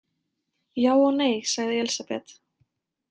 Já og nei, sagði Elísabet.